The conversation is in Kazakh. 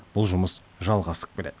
бұл жұмыс жалғасып келеді